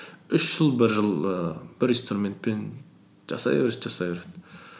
үш жыл бір жыл ііі бір инструментпен жасай береді жасай береді